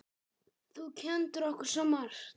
Þú kenndir okkur svo margt.